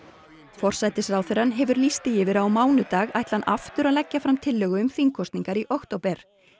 forsætisráðherrann hefur lýst því yfir að á mánudag ætli hann aftur að leggja fram tillögu um þingkosningar í október